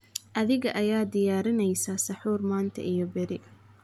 adhiga ayaa diyaarinaysa saxuur manta iyo berri